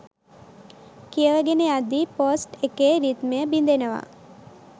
කියවගෙන යද්දී පෝස්ට් එකේ රිද්මය බිඳෙනවා.